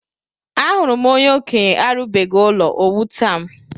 Ahụrụ m onye okenye arubeghi ụlọ o wutam